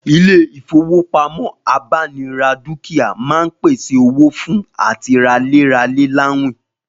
Ilé ìfowópamọ́ abánira dúkìá máa ń pèsè owó fún àti ralé ralè láwìn